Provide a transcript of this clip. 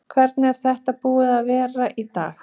Hvernig er þetta búið að vera í dag?